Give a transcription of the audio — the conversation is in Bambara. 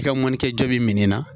I ka mɔni kɛ jaabi min na